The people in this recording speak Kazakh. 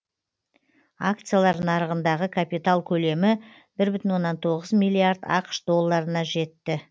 акциялар нарығындағы капитал көлемі бір бүтін оннан тоғыз миллиард ақш долларына жетті